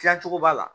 Tilacogo b'a la